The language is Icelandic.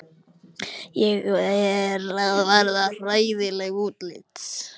Ég er að verða hræðileg útlits.